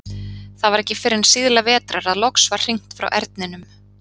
Það var ekki fyrr en síðla vetrar að loks var hringt frá Erninum.